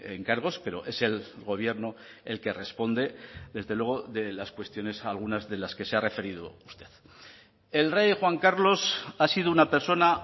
encargos pero es el gobierno el que responde desde luego de las cuestiones algunas de las que se ha referido usted el rey juan carlos ha sido una persona